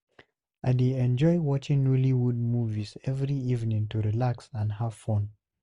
I dey enjoy watching Nollywood movies every evening to relax and have fun.